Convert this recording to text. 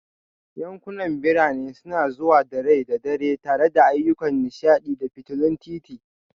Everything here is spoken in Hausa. Yankunan birane suna zuwa da rai da dare tare da ayyukan nishaɗi da fitulun titi